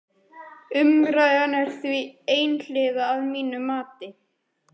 Umræðan er því einhliða að mínu mati.